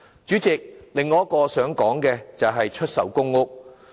主席，我想說的另一點是出售公屋。